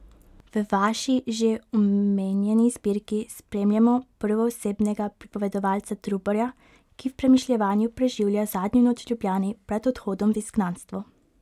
V vaši že omenjeni zbirki spremljamo prvoosebnega pripovedovalca Trubarja, ki v premišljevanju preživlja zadnjo noč v Ljubljani pred odhodom v izgnanstvo.